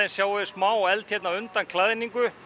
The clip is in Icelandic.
sjáum við smá eld hérna undan klæðningu